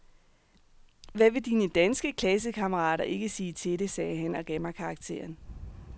Hvad vil dine danske klassekammerater ikke sige til det, sagde han og gav mig karakteren.